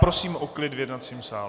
Prosím o klid v jednacím sále.